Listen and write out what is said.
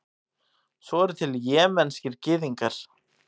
svo eru til jemenskir gyðingar